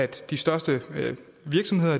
de største virksomheder